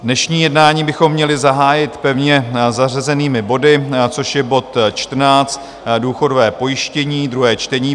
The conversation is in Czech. Dnešní jednání bychom měli zahájit pevně zařazenými body, což je bod 14, důchodové pojištění, druhé čtení;